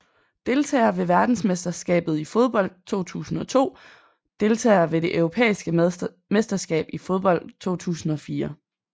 Deltagere ved verdensmesterskabet i fodbold 2002 Deltagere ved det europæiske mesterskab i fodbold 2004